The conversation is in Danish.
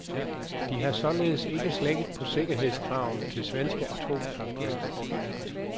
De har således ikke slækket på sikkerhedskravene til svenske atomkraftværker.